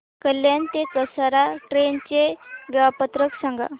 कल्याण ते कसारा ट्रेन चे वेळापत्रक सांगा